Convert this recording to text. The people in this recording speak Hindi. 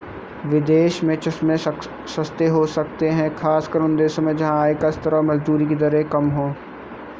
विदेश में चश्में सस्ते हो सकते हैं खास कर उन देशों में जहां आय का स्तर और मज़दूरी की दरें कम हों